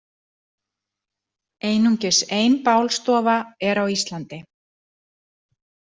Einungis ein bálstofa er á Íslandi.